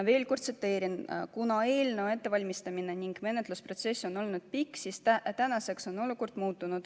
Veel kord tsiteerin: kuna eelnõu ettevalmistamine ning menetlusprotsess on olnud pikk, siis tänaseks on olukord muutunud.